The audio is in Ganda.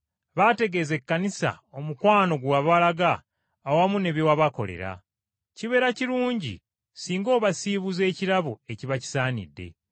Baategeeza Ekkanisa omukwano gwe wabalaga awamu ne bye wabakolera. Kibeera kirungi singa obasiibuza ekirabo ekiba kisaanidde.